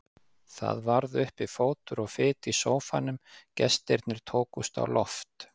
Það varð uppi fótur og fit í sófanum, gestirnir tókust á loft.